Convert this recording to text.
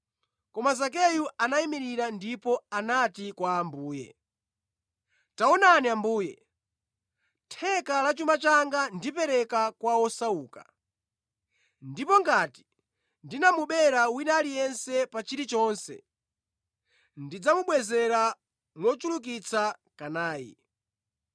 Koma Zakeyu anayimirira ndipo anati kwa Ambuye, “Taonani Ambuye! Theka la chuma changa ndipereka kwa osauka ndipo ngati ndinamubera wina aliyense pa chilichonse, ndidzamubwezera mochulukitsa kanayi.”